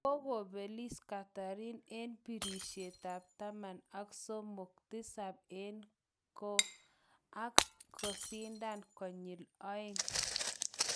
Kokobelis Catherine eng birishet tab taman ak somok, tisab eng KO ak kesindan konyil aeng